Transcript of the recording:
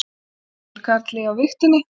Sigurkarli á vigtinni.